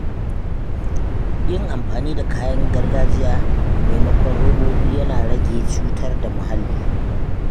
Yin amfani da kayan gargajiya maimakon robobi yana rage cutar da muhalli.